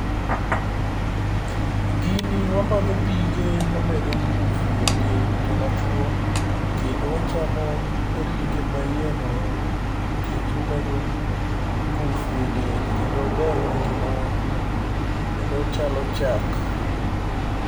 Gini wamodho pige, omedo ngufu e dend joma chuo, kendo wachamo ringe ma iye no nikech omedo ngufu e del, kendo ober ne ngimawa kendo ochalo chak.